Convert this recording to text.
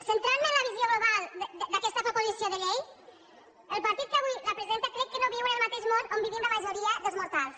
centrant me en la visió global d’aquesta proposició de llei el partit que avui la presenta crec que no viu en el mateix món on vivim la majoria dels mortals